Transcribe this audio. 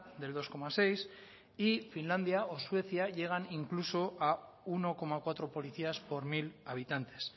del dos coma seis y finlandia o suecia llegan incluso a uno coma cuatro policías por mil habitantes